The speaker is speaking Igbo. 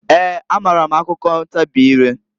Eeǃ A maara m akụkọ ntabị ireǃ